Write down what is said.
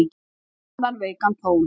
Grannan, veikan tón.